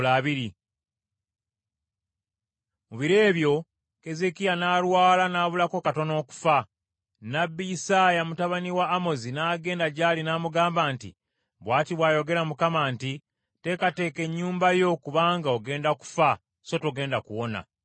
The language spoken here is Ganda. Mu biro ebyo Keezeekiya n’alwala n’abulako katono okufa. Nnabbi Isaaya mutabani wa Amozi n’agenda gy’ali n’amugamba nti, “Bw’ati bw’ayogera Mukama nti: Teekateeka ennyumba yo, kubanga ogenda kufa so togenda kuwona.”